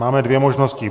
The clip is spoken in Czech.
Máme dvě možnosti.